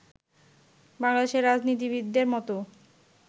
বাংলাদেশের রাজনীতিবিদদের মতো